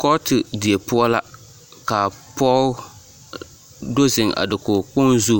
Kɔɔte die poɔ la ka pɔge do zeŋ a dakogikpoŋ zu